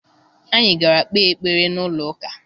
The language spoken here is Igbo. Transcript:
Anyị gara kpee ekpere n'ụlọụka